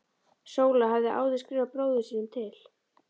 Sóla hafði áður skrifað bróður sínum til